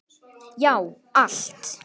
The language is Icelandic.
Já, allt!